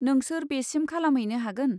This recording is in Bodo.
नोंसोर बेसिम खालामहैनो हागोन?